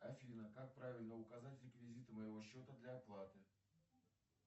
афина как правильно указать реквизиты моего счета для оплаты